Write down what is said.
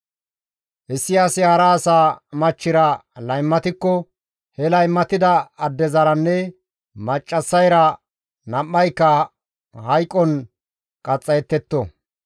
« ‹Issi asi hara asa machchira laymatikko he laymatida addezaranne maccassayra nam7ayka hayqon qaxxayettetto.